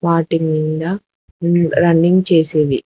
వాటి మింద న్ రన్నింగ్ చేసేవి.